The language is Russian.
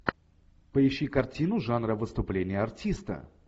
поищи картину жанра выступление артиста